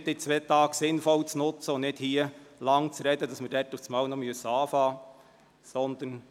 Versuchen Sie, diese zwei Tage sinnvoll zu nutzen, und sprechen Sie hier nicht so lange, dass wir diese zwei Tage noch anbrechen müssen.